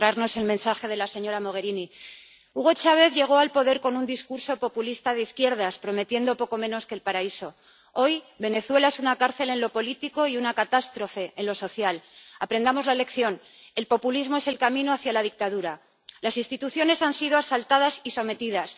Señor presidente gracias, comisaria Jourová, por traernos el mensaje de la señora Mogherini. Hugo Chávez llegó al poder con un discurso populista de izquierdas, prometiendo poco menos que el paraíso. Hoy, Venezuela es una cárcel en lo político y una catástrofe en lo social. Aprendamos la lección. El populismo es el camino hacia la dictadura las instituciones han sido asaltadas y sometidas